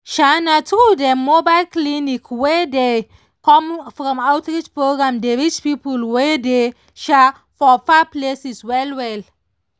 um na true dem mobile clinic wey dey come from outreach programs dey reach people wey dey um for far places well well.